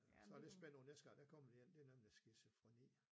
Øh så det spændende næste gang der kommer de ind det er nemlig skizofreni